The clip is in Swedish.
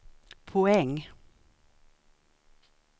poäng